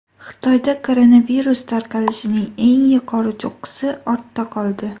Xitoyda koronavirus tarqalishining eng yuqori cho‘qqisi ortda qoldi.